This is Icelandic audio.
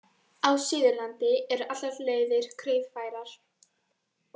Á Suðurlandi eru allar leiðir greiðfærar